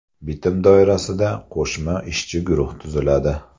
Bitim doirasida qo‘shma ishchi guruh tuziladi.